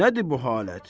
Nədir bu halət?